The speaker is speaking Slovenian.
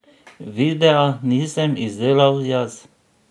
Videa nisem izdelal jaz.